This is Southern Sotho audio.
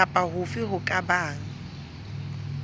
kapa hofe ho ka bang